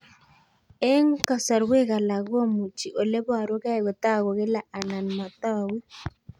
Eng' kasarwek alak komuchi ole parukei kotag'u kila anan matag'u